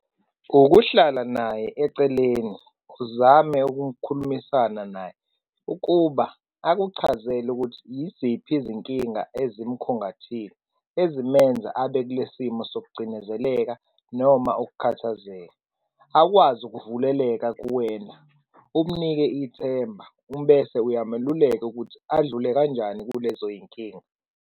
Ukuhlala naye eceleni uzame ukukhulumisana naye, ukuba akuchazele ukuthi yiziphi izinkinga emzimkhungathile ezimenza abekulesimo sokucindezeleka noma ukukhathazeka, akwazi ukuvuleleka kuwena, umnike ithemba bese uyameluleka ukuthi adlule kanjani kulezoy'nkinga.